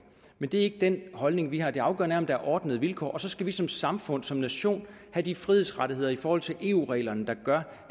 men det er ikke den holdning vi har det afgørende er om der er ordnede vilkår så skal vi som samfund som nation have de frihedsrettigheder i forhold til eu reglerne der gør